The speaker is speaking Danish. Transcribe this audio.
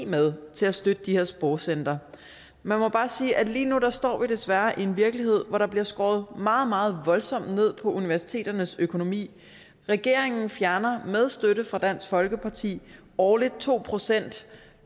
med til at støtte de her sprogcentre man må bare sige at vi lige nu desværre står i en virkelighed hvor der bliver skåret meget meget voldsomt ned på universiteternes økonomi regeringen fjerner med støtte fra dansk folkeparti årligt to procent